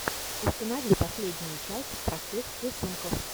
установи последнюю часть простых рисунков